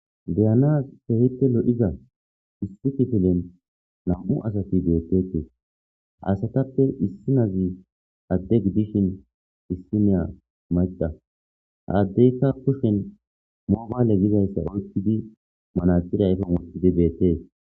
Deyana hehite lo7iza issi tifilen nam7u asati deettetee asatappe issinazi adde giddishin issineya maxa haaddeyka kushen moobaale gizayssa oykkidi manaxirayfon wotidi beettee.